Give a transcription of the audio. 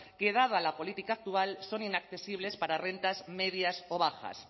que dada la política actual son inaccesibles para rentas medias o bajas